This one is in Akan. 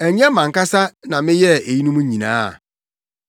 Ɛnyɛ mʼankasa na meyɛɛ eyinom nyinaa?’